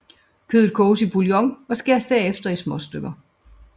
Kødet koges i bouillon og skæres derefter i små stykker